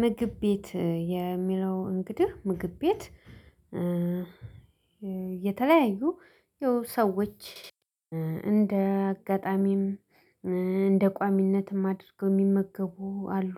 ምግብ ቤት የሚለው እንግዲህ ምግብ ቤት የተለያዩ ያው ሰዎች እንደ አጋጣሚም እንደ ቋሚነትም አድርገው የሚመገቡ አሉ